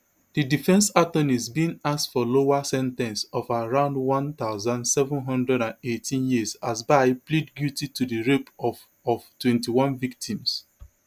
di defence attorneys bin ask for lower sen ten ce of around one thousand, seven hundred and eighteen years as bye plead guilty to di rape of of twenty-one victims